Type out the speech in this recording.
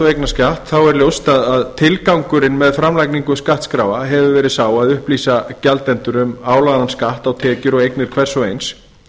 eignarskatt er ljóst að tilgangurinn með framlagningu skattskráa hefur verið sá að upplýsa gjaldendur um álagðan skatt á tekjur og eignir hvers og eins